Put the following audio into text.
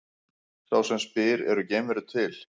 Sá sem spyr Eru geimverur til?